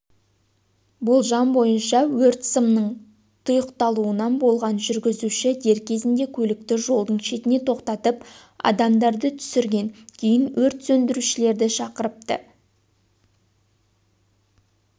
болжам бойынша өрт сымның тұйықталуынан болған жүргізуші дер кезінде көлікті жолдың шетіне тоқтатып адамдарды түсірген кейін өрт сөндірушілерді шақырыпты